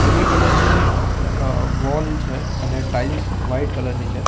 Grey colour ની અ wall છે અને ટાઇલ્સ વાઈટ કલર ની છે.